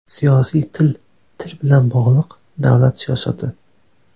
Siyosiy til til bilan bog‘liq davlat siyosati.